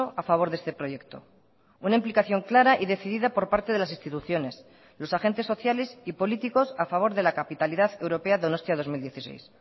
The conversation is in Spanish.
a favor de este proyecto una implicación clara y decidida por parte de las instituciones los agentes sociales y políticos a favor de la capitalidad europea donostia dos mil dieciséis